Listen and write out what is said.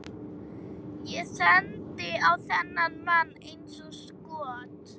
Ég sendi á þennan mann eins og skot.